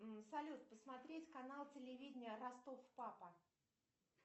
салют посмотреть канал телевидения ростов папа